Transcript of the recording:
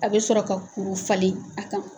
A bɛ sɔrɔ ka kuru falen a kan